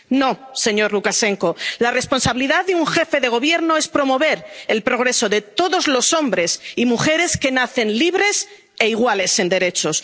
No, señor Lukashenko la responsabilidad de un jefe de Gobierno es promover el progreso de todos los hombres y mujeres que nacen libres e iguales en derechos.